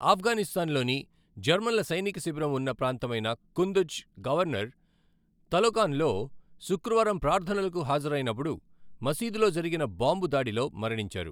ఆఫ్ఘనిస్తాన్లోని జర్మన్ల సైనిక శిబిరం ఉన్న ప్రాంతమైన కుందుజ్ గవర్నర్, తలోకాన్లో శుక్రవారం ప్రార్థనలకు హాజరైనప్పుడు మసీదులో జరిగిన బాంబు దాడిలో మరణించారు.